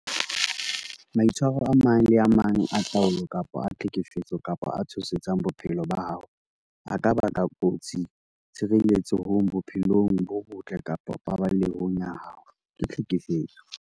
Maitshwaro a mang le a mang a taolo kapa a tlhekefetso kapa a tshosetsang bophelo ba hao a ka bakang kotsi tshireletsehong, bophelong bo botle kapa paballehong ya hao ke tlhekefetso.